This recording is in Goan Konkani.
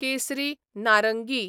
केसरी, नारंगी